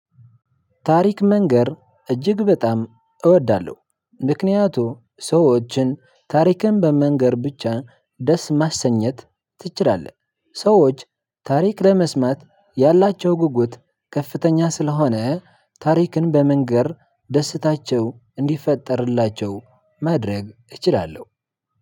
ታሪክ መንገር እጅግ በጣም እወዳለሁ ምክንያቱም ሰዎችን ታሪክን በመንገር ብቻ ደስ ማሰኘት ትችላለህ። ሰዎች ታሪክ ለመስማት ያላቸው ጉጉት ከፍተኛ ስለሆነ ታሪክን በመንገር ደስታቸው እንዲፈጠርላቸው መድረግ እችላለሁ።